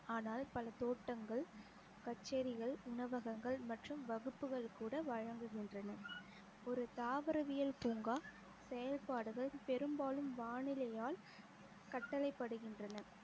ஆனால் பல தோட்டங்கள் கச்சேரிகள், உணவகங்கள் மற்றும் வகுப்புகள் கூட வழங்குகின்றன ஒரு தாவரவியல் பூங்கா செயல்பாடுகள் பெரும்பாலும் வானிலையால் கட்டளை படுகின்றன